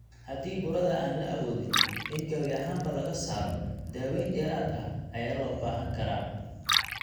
Haddii burada aan la awoodin in gabi ahaanba laga saaro, daaweyn dheeraad ah ayaa loo baahan karaa.